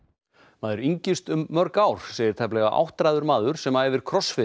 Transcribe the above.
maður yngist um mörg ár segir tæplega áttræður maður sem æfir